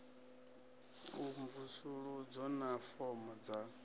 a mvusuludzo na fomo dza